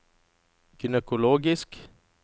gynekologisk